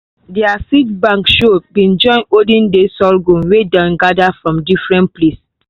their seed bank show been join olden days sorghum wey dem gather from different place.